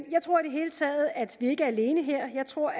hele taget at vi ikke er alene her jeg tror